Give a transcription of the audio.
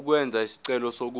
ukwenza isicelo sokuba